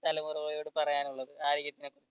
തലമുറയോട് പറയാനുള്ളത് ആരോഗ്യത്തിന് പറ്റി